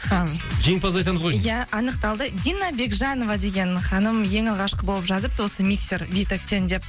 жеңімпазды айтамыз ғой иә анықталды дина бекжанова деген ханым ең алғашқы болып жазыпты осы миксер витэктен деп